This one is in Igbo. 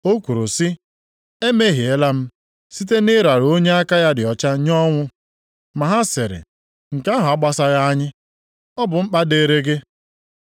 Ọ kwuru sị, “Emehiela m, site na ịrara onye aka ya dị ọcha nye ọnwụ.” Ma ha sịrị, “Nke ahụ agbasaghị anyị, ọ bụ mkpa dịrị gị.”